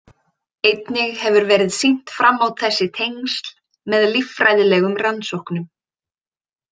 Einnig hefur verið sýnt fram á þessi tengsl með líffræðilegum rannsóknum.